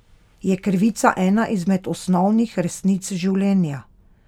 Je krivica ena izmed osnovnih resnic življenja?